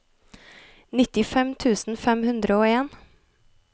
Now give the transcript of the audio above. nittifem tusen fem hundre og en